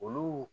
Olu